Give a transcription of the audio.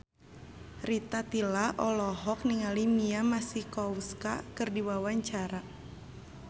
Rita Tila olohok ningali Mia Masikowska keur diwawancara